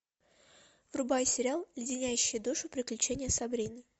врубай сериал леденящие душу приключения сабрины